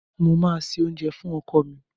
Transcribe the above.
Mo máa se oúnjẹ fún ọkọ mi.